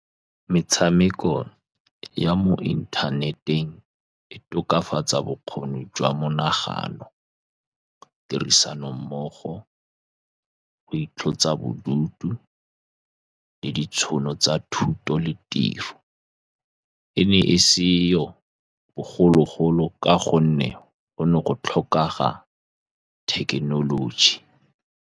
Metshameko ya mo inthaneteng. E tokafatsa bokgoni jwa monagano, tirisano mmogo go itlosa bodutu le ditšhono tsa thuto le tiro, e ne e seyo bogologolo ka gonne go ne go tlhokega thekenoloji.